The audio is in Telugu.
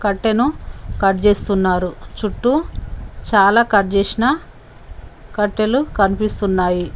కట్టెను కట్ చేస్తున్నారు చుట్టూ చాలా కట్ చేసిన కట్టెలు కనిపిస్తున్నాయి.